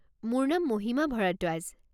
মোৰ নাম মহিমা ভৰদ্বাজ।